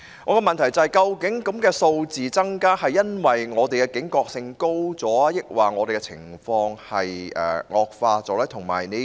我的補充質詢是，究竟個案數字增加是因為本港的警覺性提高了，還是情況惡化了呢？